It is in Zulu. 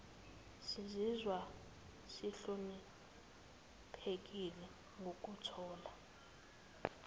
sizizwa sihloniphekile ngokuthola